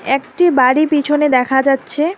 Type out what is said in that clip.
একটি বাড়ি পিছনে দেখা যাচ্ছে।